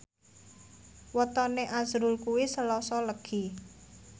wetone azrul kuwi Selasa Legi